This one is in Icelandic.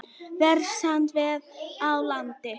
Versnandi veður á landinu